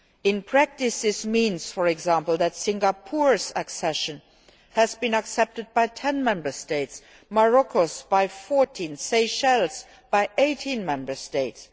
In practice this means, for example, that Singapore's accession has been accepted by 10 Member States, Morocco's by 14 and Seychelles' by 18 Member States.